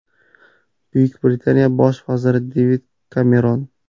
Buyuk Britaniya bosh vaziri Devid Kemeron.